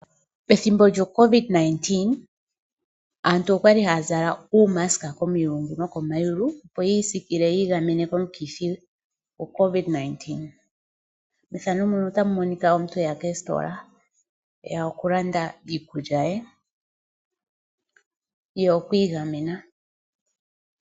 Pethimbo lyocovid 19 aantu okwali haya zala uumaska komilungu nokomayulu, opo yiisikile yiigamene komukithi. Aantu yamwe okwali ha yayi koositola yakalande iikulya ye yo oyi igamena.